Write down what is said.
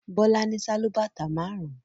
Bọ́lá ní sálúbàtà márùn-ún.